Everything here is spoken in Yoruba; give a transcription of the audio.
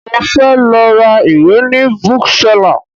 Mo fẹ́ lọ ra ìwé ni Bookseller